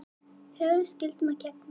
Höfum skyldum að gegna